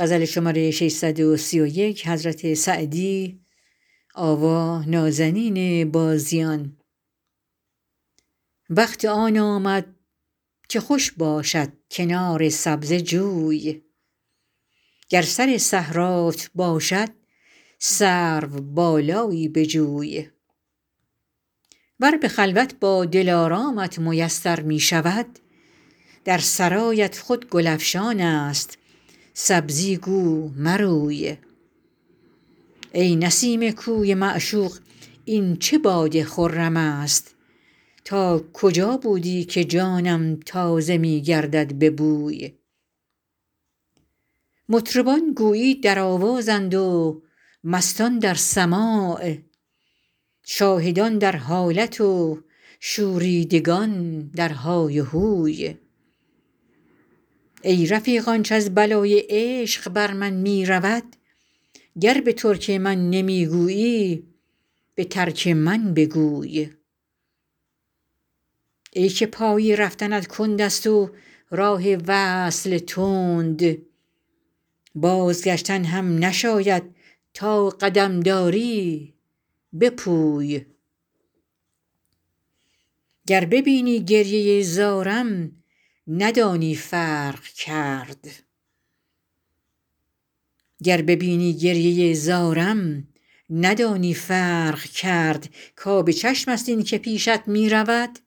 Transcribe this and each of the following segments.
وقت آن آمد که خوش باشد کنار سبزه جوی گر سر صحرات باشد سروبالایی بجوی ور به خلوت با دلارامت میسر می شود در سرایت خود گل افشان است سبزی گو مروی ای نسیم کوی معشوق این چه باد خرم است تا کجا بودی که جانم تازه می گردد به بوی مطربان گویی در آوازند و مستان در سماع شاهدان در حالت و شوریدگان در های و هوی ای رفیق آنچ از بلای عشق بر من می رود گر به ترک من نمی گویی به ترک من بگوی ای که پای رفتنت کند است و راه وصل تند بازگشتن هم نشاید تا قدم داری بپوی گر ببینی گریه زارم ندانی فرق کرد کآب چشم است این که پیشت می رود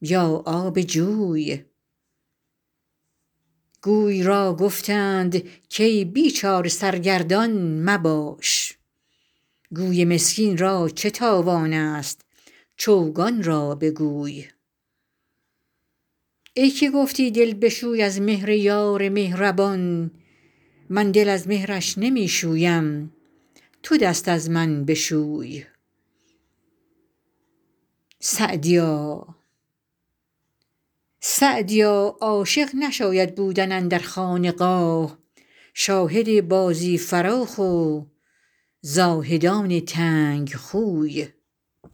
یا آب جوی گوی را گفتند کای بیچاره سرگردان مباش گوی مسکین را چه تاوان است چوگان را بگوی ای که گفتی دل بشوی از مهر یار مهربان من دل از مهرش نمی شویم تو دست از من بشوی سعدیا عاشق نشاید بودن اندر خانقاه شاهد بازی فراخ و زاهدان تنگ خوی